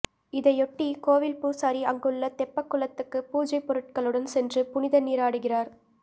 இதையொட்டி கோவில் பூசாரி அங்குள்ள தெப்பக்குளத்துக்கு பூஜை பொருட்களுடன் சென்று புனித நீராடுகிறார்